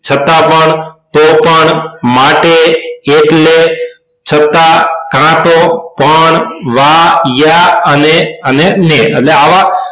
છતાં પણ તો પણ માટે એટલે છતાં કાંતો કોણ વા યા અને અને ને આવા